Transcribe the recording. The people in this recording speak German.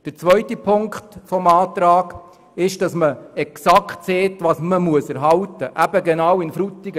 Der zweite Punkt besagt exakt, was zu erhalten ist, eben genau in Frutigen.